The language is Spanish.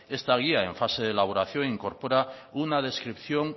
esta guía en fase de elaboración incorpora una descripción